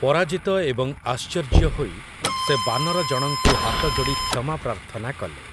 ପରାଜିତ ଏବଂ ଆଶ୍ଚର୍ଯ୍ୟ ହୋଇ ସେ ବାନରଜଣଙ୍କୁ ହାତଯୋଡ଼ି କ୍ଷମା ପ୍ରାର୍ଥନା କଲେ ।